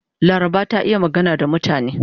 Laraba ta iya magana da mutane.